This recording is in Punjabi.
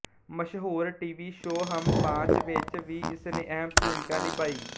ਮਸ਼ਹੂਰ ਟੀਵੀ ਸ਼ੋਅ ਹਮ ਪਾਂਚ ਵਿੱਚ ਵੀ ਇਸਨੇ ਅਹਿਮ ਭੂਮਿਕਾ ਨਿਭਾਈ